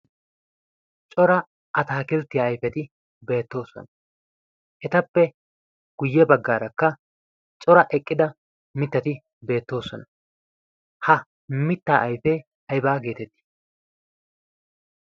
cora ataakilttia aifeti beettoosona. etappe guyye baggaarakka cora eqqida mittati beettoosona ha mitta aifee aybaa geetettii?